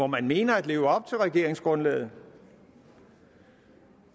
man mener at leve op til regeringsgrundlaget